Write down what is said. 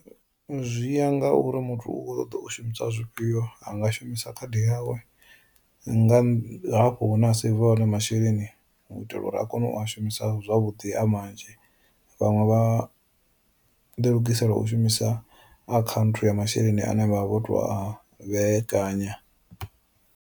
Zwi ya nga uri muthu u kho ṱoḓa u shumisa zwifhio anga shumisa khadi yawe nga hafho hune a saver hone masheleni u itela uri a kone u a shumisa zwavhuḓi a manzhi vhaṅwe vha ḓilugisela u shumisa akhanthu ya masheleni ane vha vha vho to a vhekanya.